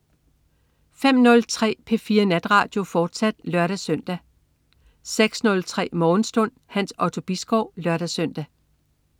05.03 P4 Natradio, fortsat (lør-søn) 06.03 Morgenstund. Hans Otto Bisgaard (lør-søn)